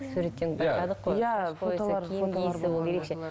суреттен байқадық қой иә ерекше